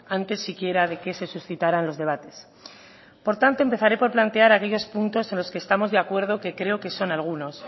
antes si quiera de que se suscitaran los debates por tanto empezaré por plantear aquellos puntos en los que estamos de acuerdo que creo que son algunos